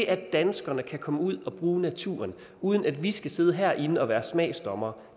at danskerne kan komme ud og bruge naturen uden at vi skal sidde herinde og være smagsdommere